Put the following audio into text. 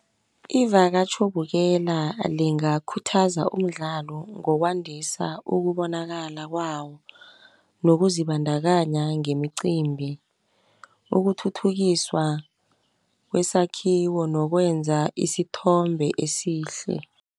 Ivakatjhobukela lingakhuza umdlalo ngokwadisa ukubonakala kwawo, ngokuzibandakanya ngemiqimbi ukuthuthukiswa kwesakhiwo nokwenza isithombe esihle.